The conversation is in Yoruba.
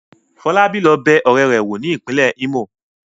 Fọlábí lọ bẹ ọ̀rẹ́ rẹ̀ wò ní ìpínlẹ̀ Imo.